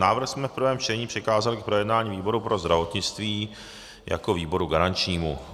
Návrh jsme v prvém čtení přikázali k projednání výboru pro zdravotnictví jako výboru garančnímu.